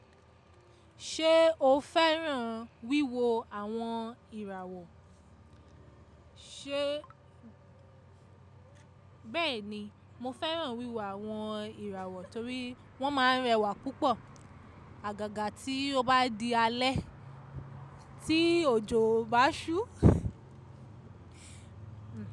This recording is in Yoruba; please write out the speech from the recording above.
Ṣé o fẹ́ràn wíwo àwọn ìràwọ̀? Bẹ́ẹ̀ni, mo fẹ́ràn wíwo àwọn ìràwọ̀ torí wọ́n máa ń rẹwà púpọ̀. Àgàgà tí o bá di alẹ́, tí òjò bá ṣú.